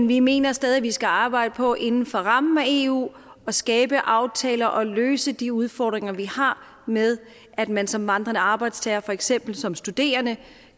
vi mener stadig at vi skal arbejde på inden for rammen af eu at skabe aftaler og løse de udfordringer vi har med at man som vandrende arbejdstager for eksempel som studerende